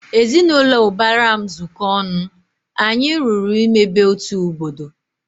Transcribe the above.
Ezinaụlọ ubara m zuko ọnụ, anyị lụrụ ịmebe otu obodo